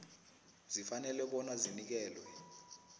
zifanele bona zinikelwe